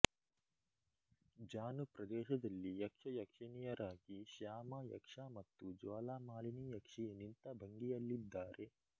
ಜಾನು ಪ್ರದೇಶದಲ್ಲಿ ಯಕ್ಷಯಕ್ಷಿಣಿಯರಾಗಿ ಶ್ಯಾಮ ಯಕ್ಷ ಮತ್ತು ಜ್ವಾಲಾಮಾಲಿನಿ ಯಕ್ಷಿ ನಿಂತ ಭಂಗಿಯಲ್ಲಿದ್ದಾರೆ